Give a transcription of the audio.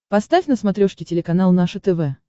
поставь на смотрешке телеканал наше тв